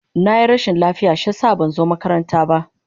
Na yi rashin lafiya shi ya sa ban zo makaranta ba.